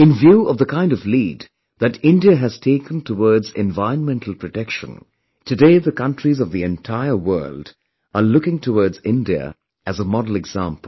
In view of the kind of lead that India has taken towards environmental protection, today the countries of the entire world are looking towards India as a model example